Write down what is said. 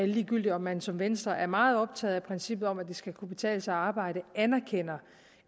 ligegyldigt om man som venstre er meget optaget af princippet om at det skal kunne betale sig at arbejde